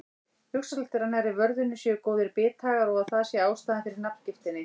Hugsanlegt er að nærri vörðunni séu góðir bithagar og að það sé ástæðan fyrir nafngiftinni.